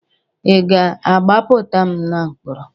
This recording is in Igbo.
Ị ga-agbapụta na mkpọrọ?